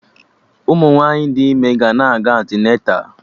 Ụmụ nwaanyị dị ime ga na-aga antịneta